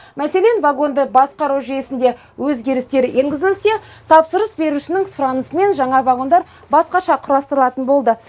мәселен вагонды басқару жүйесінде өзгерістер енгізілсе тапсырыс берушінің сұранысымен жаңа вагондар басқаша құрастырылатын болды